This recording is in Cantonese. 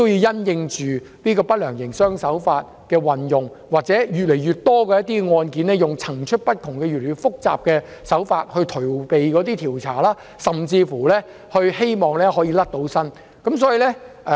因應不良營商手法的運用，以及越來越多案件利用層出不窮、越來越複雜的手法以逃避調查及脫罪，政府應適時對人手作出調整。